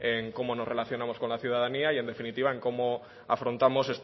en cómo nos relacionaríamos con la ciudadanía y en definitiva en cómo afrontamos